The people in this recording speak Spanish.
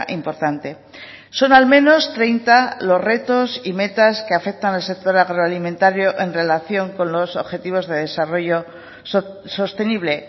importante son al menos treinta los retos y metas que afectan al sector agroalimentario en relación con los objetivos de desarrollo sostenible